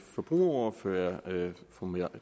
forbrugerordfører fru mette